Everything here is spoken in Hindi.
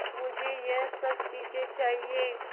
मुझे यह सब चीज़ें चाहिएँ